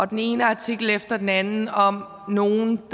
den ene artikel efter den anden om nogle